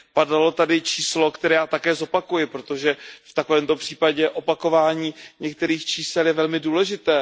Padlo tady číslo, které já také zopakuji, protože v takovémto případě opakování některých čísel je velmi důležité.